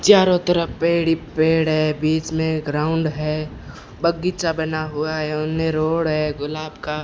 चारों तरफ पेड़ ही पेड़ हैं बीच में ग्राउंड है बगीचा बना हुआ है उन्हें रोड है गुलाब का --